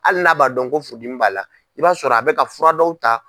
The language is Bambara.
Hali n'a b'a dɔn ko furudimi b'a la i b'a sɔrɔ a bɛ ka fura dɔw ta.